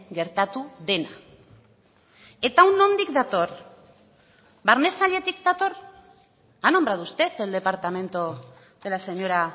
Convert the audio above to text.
gertatu dena eta hau nondik dator barne sailetik dator ha nombrado usted el departamento de la señora